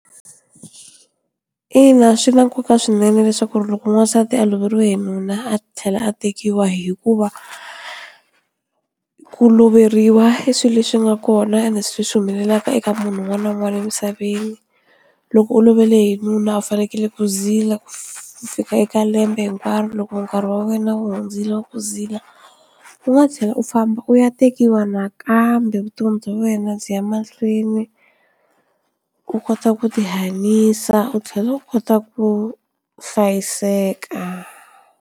Ina, swi na nkoka swinene leswaku loko n'wansati a loveriwe hi nuna a tlhela a tekiwa hikuva ku loveriwa i swilo leswi nga kona ende swi leswi humelelaka eka munhu un'wana na un'wana emisaveni loko u alovele hi nuna u fanele ku zila ku fika eka lembe hinkwaro loko nkarhi wa wena u hundzile wa ku zila u nga tlhela u famba u ya tekiwa nakambe vutomi bya wena byi ya mahlweni u kota ku ti hanyisa u tlhela u kota ku hlayiseka.